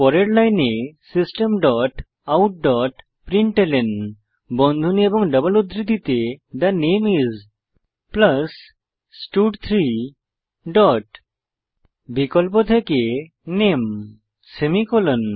পরের লাইনে system dot out dot println বন্ধনী এবং ডবল উদ্ধৃতিতে থে নামে আইএস স্টাড3 ডট বিকল্প থেকে নামে সেমিকোলন